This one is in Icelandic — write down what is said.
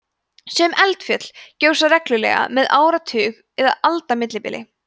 sum eldfjöll gjósa reglulega með áratuga eða alda millibili